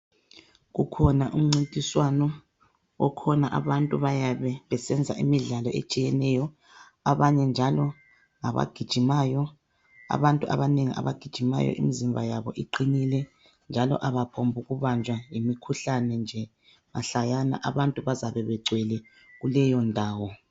kukhona umncintiswano okhona abantu bayabe besenza imidlalo etshiyeneyo abanye njalo ngabagijimayo, abantu abanengi abagijimayo imizimba yabo iqinile njalo abaphongubanjwa yimikhuhlane nje mahlayana abantu bazabe begcwele kuleyo ndawo.